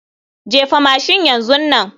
Jefa mashin yanzu nan.